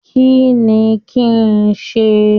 Kínní kí n sí?